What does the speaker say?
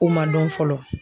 O ma dɔn fɔlɔ.